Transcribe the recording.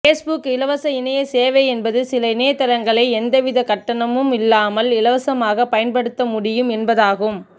Facebook இலவச இணைய சேவை என்பது சில இணையதளங்களை எந்தவித கட்டணமும் இல்லாமல் இலவசமாக பயன்படுத்தமுடியும் என்பதாகும்